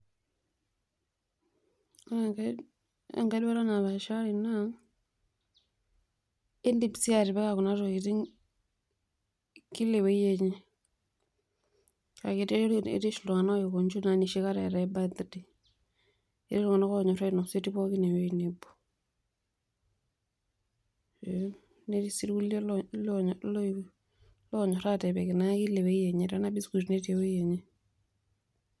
Na ke enkaiduata napaashari naa keidip sii atipika kuna tokitin kilaewiki aiteru ketii ltunganak oiko nji enoshi kata eetai birthday ketii ltunganak onyor ainosa etii ltunganak pookin ewueji nabo netii sii rkulie onyor atipik kila uwuei enye, tanaa biscuit ewuei enye.